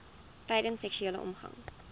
tydens seksuele omgang